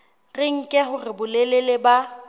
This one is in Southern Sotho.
re nke hore bolelele ba